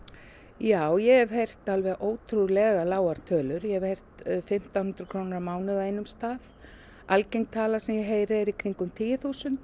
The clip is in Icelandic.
já ég hef heyrt alveg ótrúlegar tölur ég hef heyrt fimmtán hundruð krónur á mánuði á einum stað algeng tala sem ég heyri er í kringum tíu þúsund